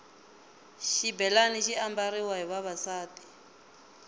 xibhelani xi ambariwa hi vavasati